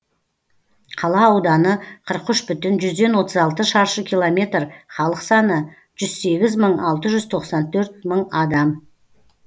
қала ауданы қырық үш бүтін жүзден отыз алты шаршы километр халық саны жүз сегіз мың алты жүз тоқсан төрт мың адам